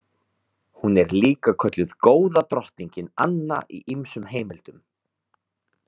Hún er líka kölluð Góða drottningin Anna í ýmsum heimildum.